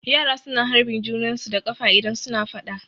Yara su na harbin junan su da ƙafa idan su na faɗa